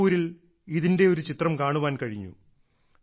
മണിപ്പൂരിൽ ഇതിന്റെ ഒരു ചിത്രം കാണാൻ കഴിഞ്ഞു